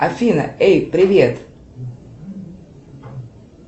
афина эй привет